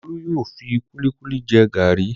Olú yóò fi kúlíkúlí jẹ gàrí.